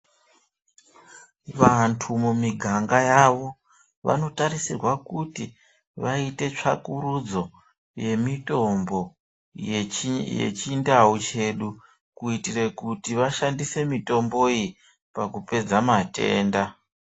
Vantu mumiganga yavo, vanotarisirwa kuti vaite tsvakurudzo yemitombo yechindau chedu kuitire kuti vashandise mitombo iyi pakupedza matenda.